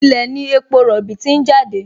Ilẹ̀ ní epo rọ̀bì ti ń jáde